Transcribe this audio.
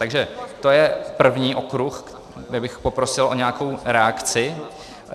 Takže to je první okruh, kde bych poprosil o nějakou reakci.